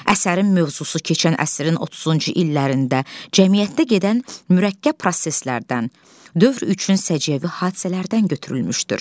Əsərin mövzusu keçən əsrin 30-cu illərində cəmiyyətdə gedən mürəkkəb proseslərdən, dövr üçün səciyyəvi hadisələrdən götürülmüşdür.